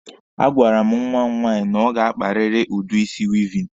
A gwara m nwa m nwaanyi na ọ ga-akparịrị udi isi weaving.